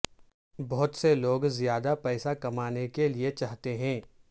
بہت سے لوگ زیادہ پیسہ کمانے کے لئے چاہتے ہیں